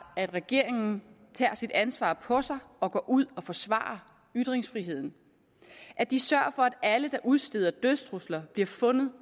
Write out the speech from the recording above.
at regeringen tager sit ansvar på sig og går ud og forsvarer ytringsfriheden at de sørger for at alle der udsteder dødstrusler bliver fundet